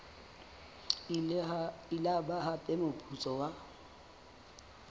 ile ba hapa moputso wa